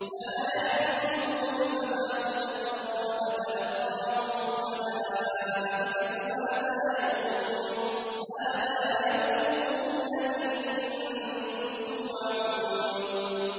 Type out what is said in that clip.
لَا يَحْزُنُهُمُ الْفَزَعُ الْأَكْبَرُ وَتَتَلَقَّاهُمُ الْمَلَائِكَةُ هَٰذَا يَوْمُكُمُ الَّذِي كُنتُمْ تُوعَدُونَ